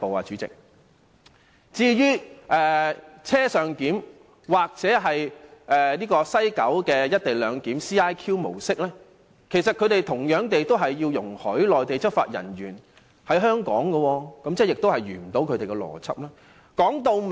至於"車上檢"或是西九的"一地兩檢"模式，同樣須容許內地執法人員在香港執法，既然如此，反對派的邏輯便無法成立。